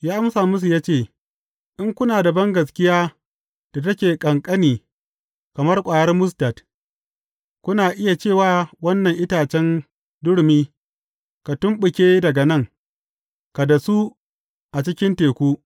Ya amsa musu ya ce, In kuna da bangaskiya da take ƙanƙani kamar ƙwayar mustad, kuna iya ce wa wannan itacen durumi, Ka tumɓuke daga nan, ka dasu a cikin teku.’